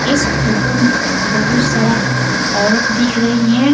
इस फोटो में बहुत सारा औरत दिख रही है।